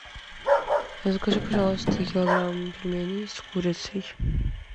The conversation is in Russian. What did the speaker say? закажи пожалуйста килограмм пельменей с курицей